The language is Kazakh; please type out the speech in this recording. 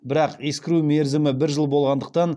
бірақ ескіру мерзімі бір жыл болғандықтан